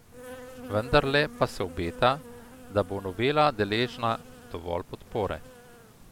Vendarle pa se obeta, da bo novela deležna dovolj podpore.